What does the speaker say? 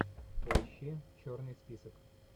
поищи черный список